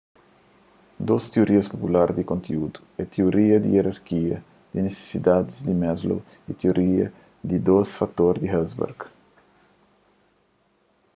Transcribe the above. dôs tiorias pupular di konteúdu é tioria di ierarkia di nisisidadis di maslow y tioria di dôs fator di hertzberg